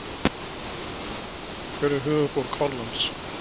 Hver er höfuðborg Hollands?